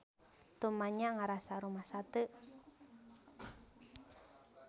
Tumanya ngarasa rumasa teu.